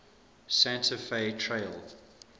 santa fe trail